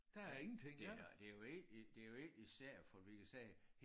Ja det da det jo egentlig det jo egentlig sært fordi vi sagde